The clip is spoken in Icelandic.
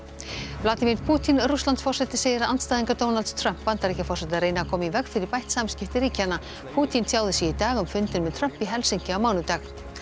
vladimír Pútín Rússlandsforseti segir að andstæðingar Donalds Trump Bandaríkjaforseta reyni að koma í veg fyrir bætt samskipti ríkjanna Pútín tjáði sig í dag um fundinn með Trump í Helsinki á mánudag